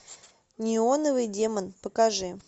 неоновый демон покажи